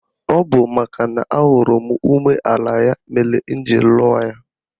Ọ bụ makana ahụrụ m umeala ya mere m ji lụọ ya.